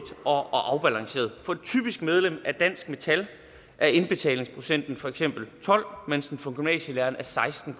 og afbalanceret for et typisk medlem af dansk metal er indbetalingsprocenten for eksempel tolv mens den for gymnasielærere er seksten